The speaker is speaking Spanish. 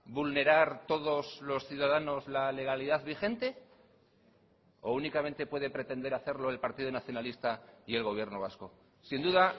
vulnerar todos los ciudadanos la legalidad vigente o únicamente puede pretender hacerlo el partido nacionalista y el gobierno vasco sin duda